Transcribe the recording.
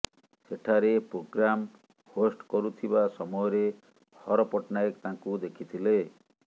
ସେଠାରେ programme host କରୁଥିବା ସମୟରେ ହର ପଟ୍ଟନାୟକ ତାଙ୍କୁ ଦେଖିଥିଲେ